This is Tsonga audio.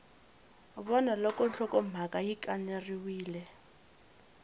vona loko nhlokomhaka yi kaneriwile